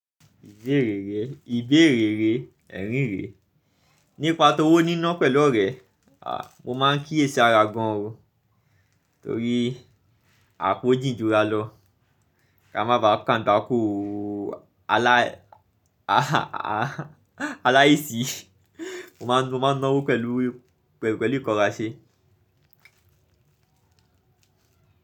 Ìbéèrè re, ẹ̀rín re, nípa towó níná pẹ̀lú orẹ, mo máa ń kí yè sara gan o. Torí àpò jìn jura lọ. Ká má ba kàn agbako alá, a a a aláìsí. Mo máa ń, mo máa ń ná owó pẹ̀lú, pẹ̀lú ìkọrá ṣe.